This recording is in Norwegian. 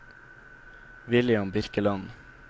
William Birkeland